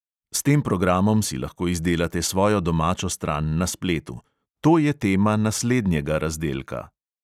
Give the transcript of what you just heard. S tem programom si lahko izdelate svojo domačo stran na spletu – to je tema naslednjega razdelka.